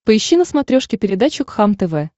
поищи на смотрешке передачу кхлм тв